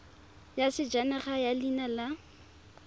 ya sejanaga ya leina la